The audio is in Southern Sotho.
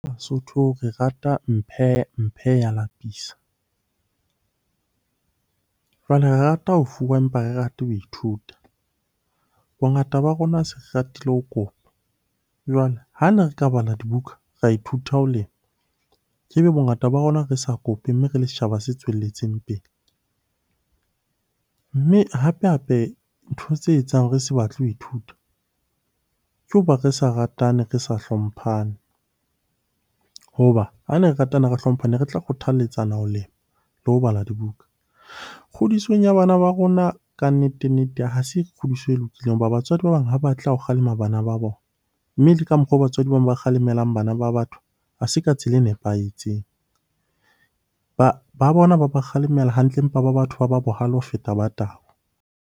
Basotho re rata mphe mphe ya lapisa. Jwale re rata ho fuwa, empa ha re rata ho ithuta. Bongata ba rona ha se ratile ho kopa, jwale ha ne re ka bala dibuka ra ithuta ho lema, ke be bongata ba rona re sa kope mme re le setjhaba se tswelletseng pele. Mme hape-hape ntho tse etsang re se batle ho ithuta ke ho ba re sa ratane, re sa hlomphane. Ho ba ha ne re ratana, re hlomphana ne re tla kgothaletsana ho lema le ho bala dibuka. Kgodisong ya bana ba rona kannete-nnete ha se kgodiso e lokileng ho ba batswadi ba bang ha batle ha o kgalema bana ba bona, mme le ka mokgwa oo batswadi ba bang ba kgalemelang bana ba batho ha se ka tsela e nepahetseng. Ba bona ba ba kgalemela hantle empa ba batho ba ba bohale ho feta ba tau.